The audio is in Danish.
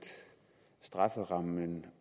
strafferammen